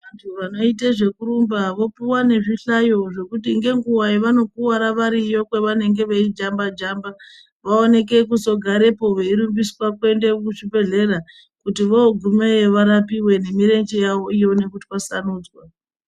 Vantu vanoite zvekurumba vopuwe nezvihlayo zvekuti ngenguwa yavanokuwara variyo kwavanenge veijamba jamba vaoneke kuzogarepo veirumbiswa kuende kuzvibhedhlera kuti vogumeyo varapiwe nemirenje yavo ione kutwasanudzwa.